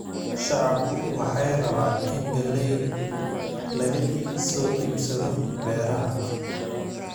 Shacabku waxay rabaan in galeeyda laga soo iibsado beeralayda